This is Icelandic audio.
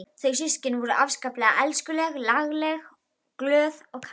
Þau systkinin voru afskaplega elskuleg og lagleg, glöð og kát.